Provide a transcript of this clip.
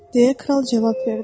deyə kral cavab verdi.